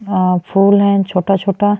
अ फूल हैं छोटा-छोटा।